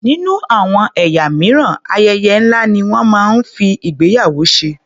Nínú àwọn ẹ̀yà mìíràn, ayẹyẹ ńlá ni wọ́n máa ń fi ìgbéyàwó ṣe.